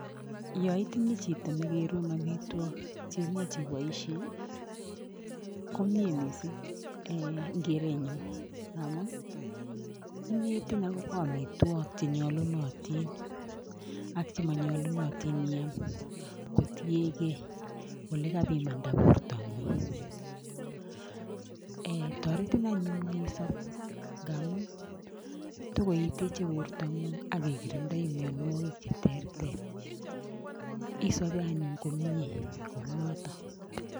Yo itinye chito nekerun omitwok cheimuch iboishe komie missing eng keretnyu amun inetin akobo amitwok chenyolunotin ak chemanyolunotin missing iam kotiengei olekapimanda bortangung toretin anyun isop ngamun tokoiteche borto ng'ung' akikirindoi mionwokik che ter ter isobe anyun kou noton.